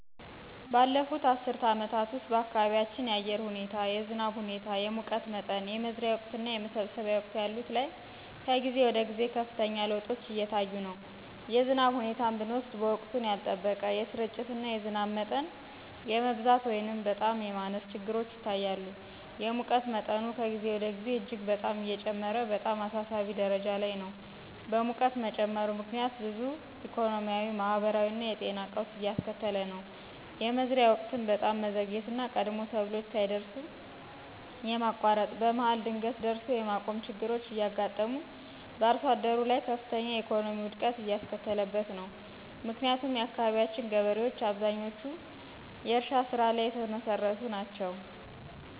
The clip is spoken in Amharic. ባለፉት አስርት አመታት ውስጥ በአካባቢያችን የአየር ሁኔታ የዝናብ ሁኔታ፣ የሙቀት መጠን፣ የመዝሪያ ወቅትና የመሰብሰቢያ ወቅት ያሉት ላይ ከጊዜ ወደ ጊዜ ከፍተኛ ለውጦች እየታዩ ነው። የዝናብ ሁኔታን ብንወስድ ወቅቱን ያልጠበቀ፣ የስርጭትና የዝናብ መጠን የመብዛት ወይንም በጣም የማነስ ችግሮች ይታያሉ። የሙቀት መጠኑ ከጊዜ ወደ ጊዜ እጅግ በጣም እየጨመረ በጣም አሳሳቢ ደረጃ ላይ ነው። በሙቀት መጨመሩ ምክንያት ብዙ ኢኮኖሚያዊ ማህበራዊና የጤና ቀውስ እያስከተለ ነው። የመዝሪያ ወቅትም በጣም መዘግየትና ቀድሞ ሰብሎች ሳይደርሱ የማቋረጥ፣ በመሀል ድንገት ደርሶ የማቆም ችግሮች እያጋጠሙ በአርሶአደሩ ላይ ከፍተኛ የኢኮኖሚ ውድቀት እያስከተለበት ነው። ምክንያቱም የአካባቢያችን ገበሬዎች አብዛኞቹ በዝናብ መር የእርሻ ስራ ላይ የተመሰረቱ ናቸው።